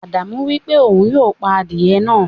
Ádámù wípé òun yóò pà adiye náà.